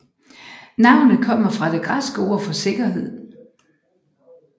Navnet kommer fra det græske ord for sikkerhed